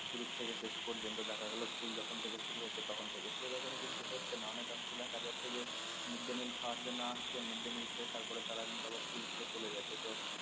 শুরু থেকে শেষ পর্যন্ত দেখা গেল school যখন থেকে শুরু হচ্ছে তখন থেকে সেরকম কিন্তু হচ্ছে না অনেকাংশে দেখা যাচ্ছে যে mid day meal খাওয়ার জন্য আসছে mid day meal খেয়ে তারপরে তারা কিন্তু আবার school থেকে চলে যাচ্ছে তো